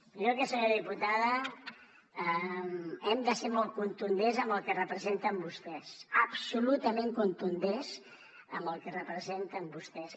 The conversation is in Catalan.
jo senyora diputada hem de ser molt contundents amb el que representen vostès absolutament contundents amb el que representen vostès